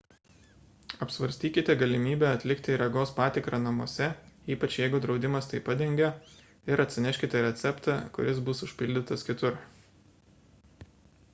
apsvarstykite galimybę atlikti regos patikrą namuose ypač jeigu draudimas tai padengia ir atsineškite receptą kuris bus užpildytas kitur